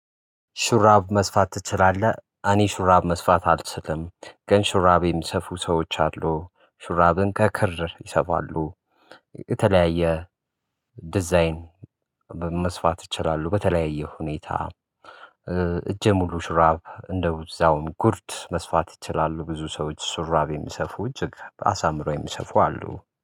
ሹራብ መስፋት ትችላለህ። አኔ ሹራብ መስፋት አልችልም ግን ሹራብ የሚሰፉ ሰዎች አሉ ሹራብን ከክር ይሰፋሉ። የተለያየ ዲዛይን መስፋት ይችላሉ በተለያየ ሁኔታ። እጅ ሙሉ ሽራብ እንደውም ጉርድ መስፋት ይችላሉ። ብዙ ሰዎች ሹራብ የሚሰፉ እጅግ አሳምሮ የሚሰፉ አሉ